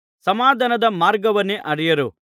ಸಮಾಧಾನದ ಮಾರ್ಗವನ್ನೇ ಅರಿಯರು